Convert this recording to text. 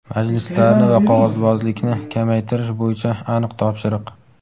Majlislarni va qog‘ozbozlikni kamaytirish bo‘yicha aniq topshiriq!.